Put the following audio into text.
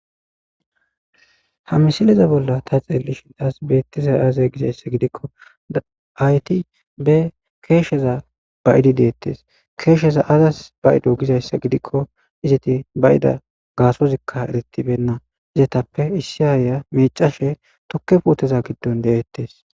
Ha misileza bolla ta xeelishin tas beetizay aaze gizayssa gidikko aayeti be keesheza ba'idi deetees; keesheza aazas ba'ido gizayssa gidikko izeti ba'ida gaasozikka erettibena izetappe issi aayiya miicashe tukke puuteza giddon de'etees.